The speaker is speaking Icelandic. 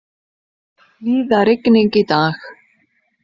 Víða rigning í dag